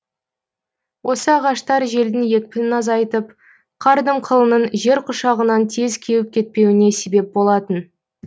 осы ағаштар желдің екпінін азайтып қар дымқылының жер құшағынан тез кеуіп кетпеуіне себеп болатын